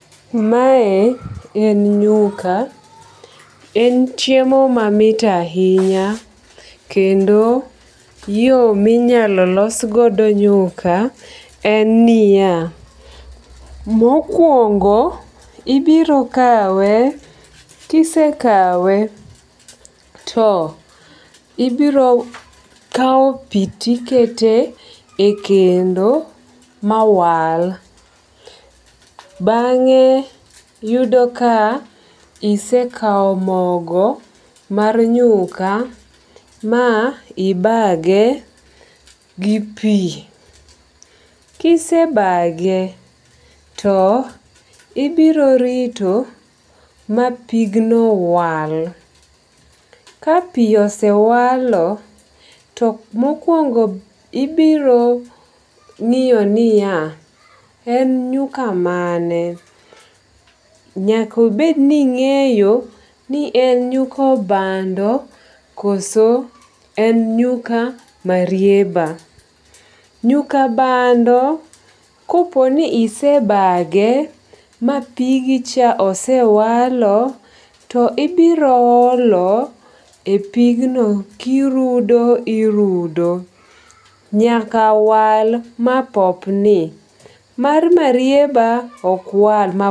Mae en nyuka. En chiemo mamit ahinya kendo yo minyalo losgodo nyuka en niya, mokwongo ibiro kawe kisekawe to ibiro kawo pi tikete e kendo mawal. Bang'e yudo ka isekawo mogo mar nyuka ma ibage gi pi. Kisebage to ibiro rito ma pigno wal. Ka pi osewalo to mokwongo ibiro ng'iyo niya, en nyuka mane. Nyakobedni ing'eyo ni en nyuka bando koso en nyuka marieba. Nyuka bando koponi isebage mapigicha osewalo to ibiro olo e pigno kirudo irudo nyakawal mapopni. Mar marieba okwal